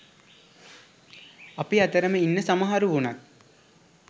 අපි අතරම ඉන්න සමහරු වුනත්